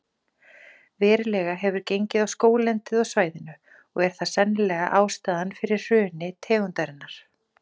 Verulega hefur gengið á skóglendið á svæðinu og er það sennilega ástæðan fyrir hruni tegundarinnar.